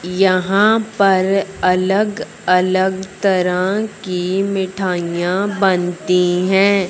यहां पर अलग अलग तरह की मिठाइयां बनती हैं।